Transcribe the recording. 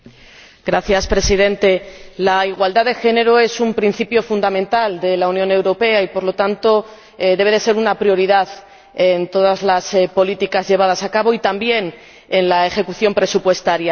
Señor Presidente, la igualdad de género es un principio fundamental de la Unión Europea y, por lo tanto, debe ser una prioridad en todas las políticas llevadas a cabo y también en la ejecución presupuestaria.